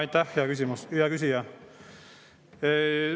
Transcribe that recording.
Aitäh, hea küsija!